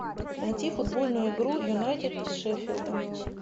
найти футбольную игру юнайтед с шеффилдом